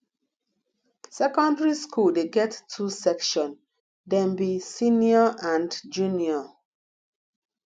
secondary skool dey get two section dem be senior and junior